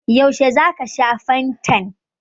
Yaushe za ka sha fantan?